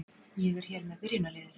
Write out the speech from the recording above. Ég er hér með byrjunarliðið.